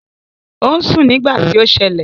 Ò ń sùn nígbà tí ó ṣẹlẹ̀